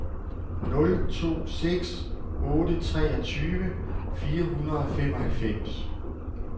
nul to seks otte treogtyve fire hundrede og femoghalvfems